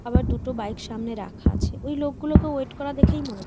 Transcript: আবার দুটো বিকে সামনে রাখা আছে ওই লোকগুলোকে ওয়েট করা দেখে মনে হ--